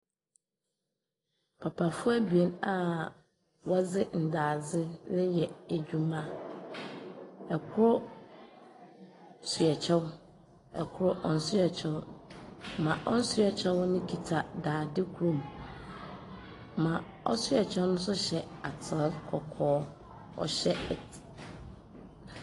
Papa abien a wɔdze ndaadze reyɛ adwuma. Kor hyɛ kyɛw. Kor nhyɛ kyɛw. Ma ɔnhyɛ kyɛw kita daadze kor mu. Ma ɔhyɛ kyɛw no nso hyɛ atar kɔkɔɔ. Ɔhyɛ et .